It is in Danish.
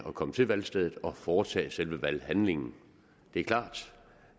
at komme til valgstedet og at foretage selve valghandlingen det er klart